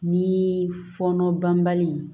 Ni fɔɔnɔ banbali